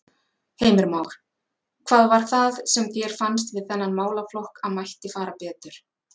Heimir Már: Hvað var það sem þér fannst við þennan málaflokk að mætti fara betur?